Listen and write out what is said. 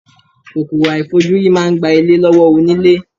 Kòkòrò àìfojúrí máa ń gba ilé lọ́wọ́ onílé.